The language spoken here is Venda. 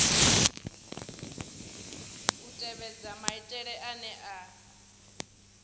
u tevhedza maitele ane a